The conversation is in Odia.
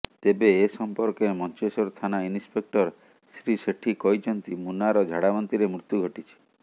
ତେବେ ଏ ସମ୍ପର୍କରେ ମଞ୍ଚେଶ୍ବର ଥାନା ଇନ୍ସପେକ୍ଟର ଶ୍ରୀ ସେଠୀ କହିଛନ୍ତି ମୁନାର ଝାଡ଼ାବାନ୍ତିରେ ମୃତ୍ୟୁ ଘଟିଛି